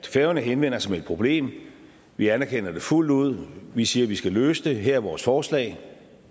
færøerne henvender sig med et problem vi anerkender det fuldt ud vi siger vi skal løse det her er vores forslag